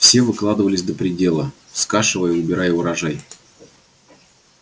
все выкладывались до предела скашивая и убирая урожай